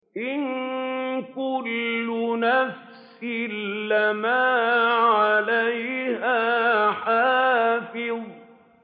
إِن كُلُّ نَفْسٍ لَّمَّا عَلَيْهَا حَافِظٌ